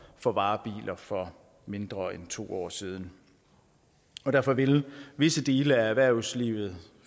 for varebiler for mindre end to år siden og derfor vil visse dele af erhvervslivet